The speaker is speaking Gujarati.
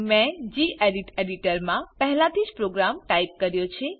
મેં ગેડિટ એડીટર મા પહેલાથીજ પ્રોગ્રામ ટાઈપ કર્યો છે